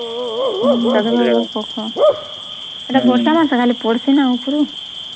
ସେଟା ବର୍ଷା ମାସ ଖାଲି ପଡିଚେ ନା